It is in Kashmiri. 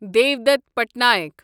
دِیودتھ پٹنایک